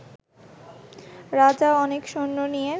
রাজা অনেক সৈন্য নিয়ে